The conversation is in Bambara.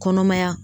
Kɔnɔmaya